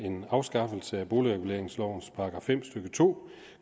en afskaffelse af boligreguleringslovens § fem stykke to